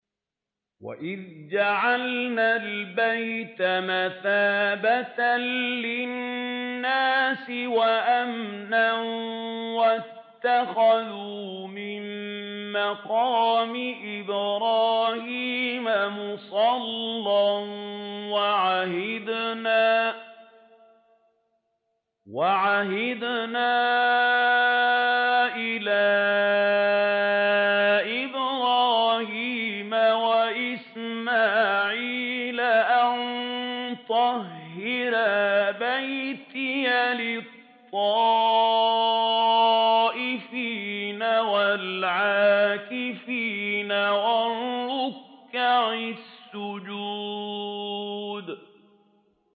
وَإِذْ جَعَلْنَا الْبَيْتَ مَثَابَةً لِّلنَّاسِ وَأَمْنًا وَاتَّخِذُوا مِن مَّقَامِ إِبْرَاهِيمَ مُصَلًّى ۖ وَعَهِدْنَا إِلَىٰ إِبْرَاهِيمَ وَإِسْمَاعِيلَ أَن طَهِّرَا بَيْتِيَ لِلطَّائِفِينَ وَالْعَاكِفِينَ وَالرُّكَّعِ السُّجُودِ